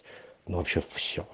вообще